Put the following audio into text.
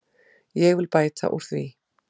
Ég vil bæta úr því.